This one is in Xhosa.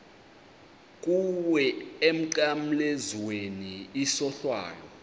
kuwe emnqamlezweni isohlwayo